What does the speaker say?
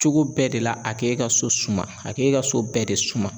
Cogo bɛɛ de la a k'e ka so suma a k'e ka so bɛɛ de suma.